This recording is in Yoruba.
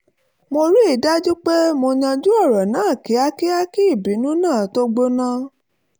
mo rí i dájú pé mo yanjú ọ̀rọ̀ náà kíákíá kí ìbínú náà tó gbóná